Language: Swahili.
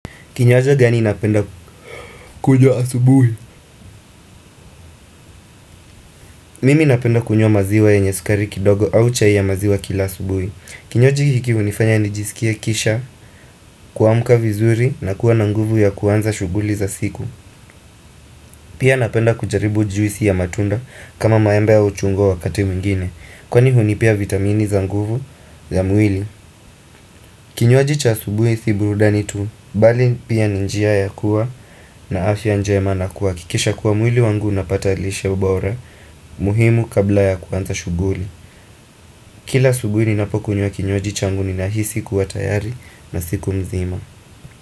Kinywaji gani napenda kunywa asubuhi? Mimi napenda kunywa maziwa yenye sukari kidogo au chai ya maziwa kila asubuhi. Kinywaji hiki hunifanya nijisikie kisha kuamka vizuri na kuwa na nguvu ya kuanza shughuli za siku. Pia napenda kujaribu juisi ya matunda kama maembe au chungwa wakati mingine. Kwani hunipea vitamini za nguvu za mwili. Kinywaji cha asubuhi si burudani tu, bali pia ni njia ya kuwa na afya njema na kuhakikisha kuwa mwili wangu unapata lishe bora. Muhimu kabla ya kuanza shughuri Kila asubuhi ninapo kunywa kinywaji changu nina hisi kuwa tayari na siku mzima.